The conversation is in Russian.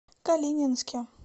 калининске